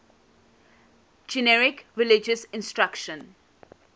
generic religious instruction